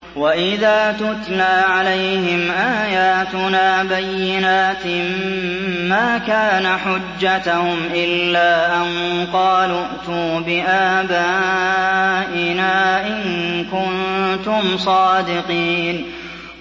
وَإِذَا تُتْلَىٰ عَلَيْهِمْ آيَاتُنَا بَيِّنَاتٍ مَّا كَانَ حُجَّتَهُمْ إِلَّا أَن قَالُوا ائْتُوا بِآبَائِنَا إِن كُنتُمْ صَادِقِينَ